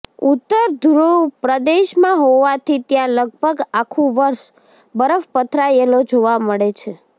ઉત્તર ધુ્રવ પ્રદેશમાં હોવાથી ત્યાં લગભગ આખુ વર્ષ બરફ પથરાયેલો જોવા મળે છે